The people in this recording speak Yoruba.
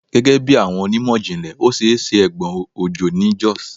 Gẹgẹbi awọn onimọ-jinlẹ, o ṣee ṣe egbon ojo ni Jos